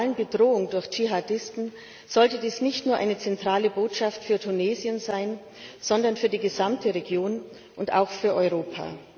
der globalen Bedrohung durch Dschihadisten sollte dies nicht nur eine zentrale Botschaft für Tunesien sein, sondern für die gesamte Region und auch für Europa.